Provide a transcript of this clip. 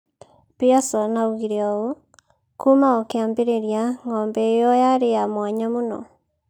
Pearson oigire ũũ: "Kuuma o kĩambĩrĩria, ng'ombe ĩyo yarĩ ya mwanya mũno.